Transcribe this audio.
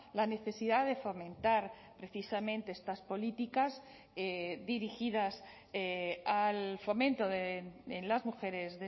la necesidad de fomentar precisamente estas políticas dirigidas al fomento en las mujeres